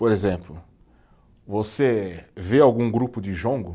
Por exemplo, você vê algum grupo de jongo?